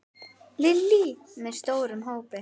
Lillý: Með stórum hópi?